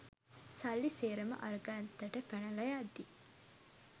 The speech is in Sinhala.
සල්ලි සේරම අර ගත්තට පැනලා යද්දි